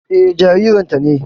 Eh, jaririn ta ne